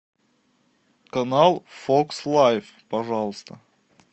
канал фокс лайф пожалуйста